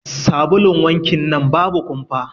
Sabulun wankin nan babu kumfa.